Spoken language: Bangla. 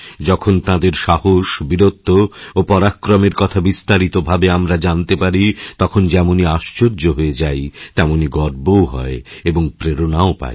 যখন তাঁদের সাহস বীরত্ব ওপরাক্রমের কথা বিস্তারিত ভাবে আমরা জানতে পারি তখন যেমন আশ্চর্য হয়ে যাই তেমনিগর্বও হয় এবং প্রেরণাও পাই